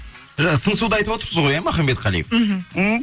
жаңа сыңсуды айтып отырсыз ғой махамбетқали мхм м